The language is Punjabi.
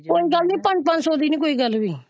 ਕੋਈ ਗੱਲ ਨਹੀਂ ਪੰਜ ਪੰਜ ਸੋ ਦੀ ਕੋਈ ਗੱਲ ਨਹੀਂ ਹੋਇ।